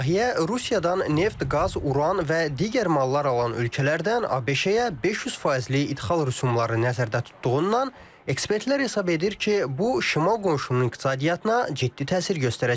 Layihə Rusiyadan neft, qaz, uran və digər mallar alan ölkələrdən ABŞ-ə 500 faizlik idxal rüsumları nəzərdə tutduğundan ekspertlər hesab edir ki, bu şimal qonşunun iqtisadiyyatına ciddi təsir göstərəcək.